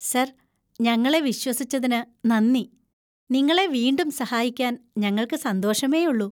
Sir, ഞങ്ങളെ വിശ്വസിച്ചതിന് നന്ദി. നിങ്ങളെ വീണ്ടും സഹായിക്കാൻ ഞങ്ങൾക്ക് സന്തോഷമേയുള്ളൂ.